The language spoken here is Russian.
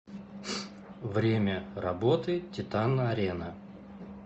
время работы титан арена